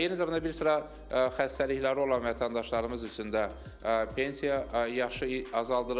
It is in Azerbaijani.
Eyni zamanda bir sıra xəstəlikləri olan vətəndaşlarımız üçün də pensiya yaşı azaldılır.